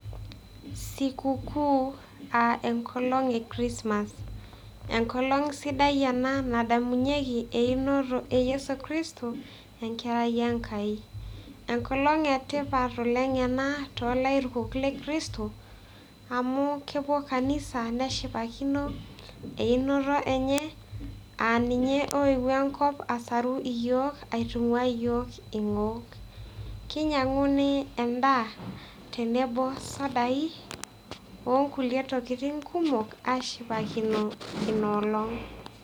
Siku kuu aa enkolong' e chrismass, enkolong' sidai ena nadamunyieki einoto e Yesu Kristo ekerai Enkai. Enkolong' etipat ena toolairukok le Kristo amu kepuo kanisa neshipakino einoto enye aa ninye oeue enkop asaru iyiook, aitung'uaa iyiook ing'ok, kinyiang'uni endaa tenebo sudai onkulie tokitin kumok aashipakino ina olong'.